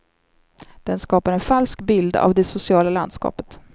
Den skapar en falsk bild av det sociala landskapet.